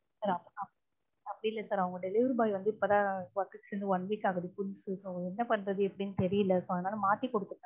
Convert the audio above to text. sir அப்படி இல்ல sir அவங்க delivery boy வந்து இப்பதான் work க்கு சேர்ந்து one week ஆகுது என்ன பண்றது எப்படின்னு தெரியல so அதனால மாத்தி கொடுத்துட்டாங்க